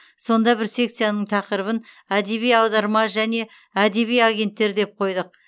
сонда бір секцияның тақырыбын әдеби аударма және әдеби агенттер деп қойдық